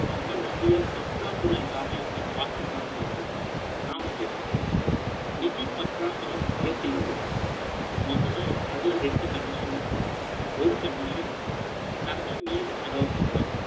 நம்ம நிதிய பற்றாக்குறை இல்லாம, எப்படி பாத்துக்கலாங்கிறதுதான், நாம பேசப்போறோம். நிதி பற்றாக்குறை, எப்படி வருது? முதல்ல, அதுல ரெண்டு condition இருக்கு. ஒரு condition, தன்னை மீறி செலவு பண்றாது